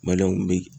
bi